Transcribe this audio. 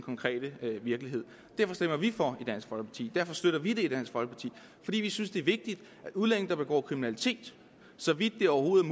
virkeligheden derfor stemmer vi for i dansk folkeparti derfor støtter vi det i dansk folkeparti vi synes det er vigtigt at udlændinge der begår kriminalitet så vidt det overhovedet